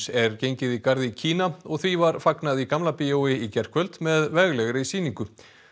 er gengið í garð í Kína og því var fagnað í Gamla bíói í gærkvöldi með veglegri sýningu